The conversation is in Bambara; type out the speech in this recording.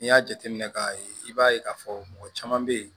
N'i y'a jateminɛ k'a ye i b'a ye k'a fɔ mɔgɔ caman bɛ yen